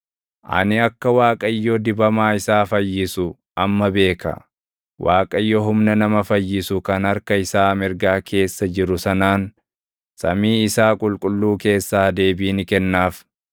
Ani akka Waaqayyo dibamaa isaa fayyisu amma beeka; Waaqayyo humna nama fayyisu kan harka isaa mirgaa keessa jiru sanaan samii isaa qulqulluu keessaa deebii ni kennaaf.